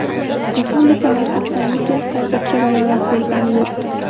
Respublika maxsus komissiyasi hozircha bayonot bergani yo‘q.